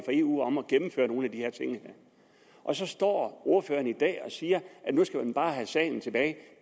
eu om at gennemføre nogle af de her ting og så står ordføreren i dag og siger at nu skal man bare have sagen tilbage